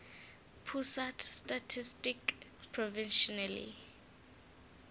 pusat statistik provisionally